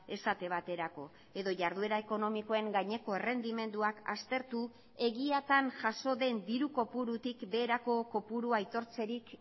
esate baterako edo jarduera ekonomikoen gaineko errendimenduak aztertu egiatan jaso den diru kopurutik beherako kopurua aitortzerik